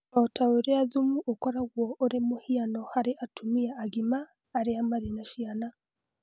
O ta ũrĩa thumu ũkoragwo ũrĩ mũhiano harĩ atumia agima arĩa marĩ na ciana.